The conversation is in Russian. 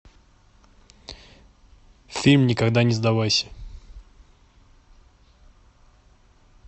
фильм никогда не сдавайся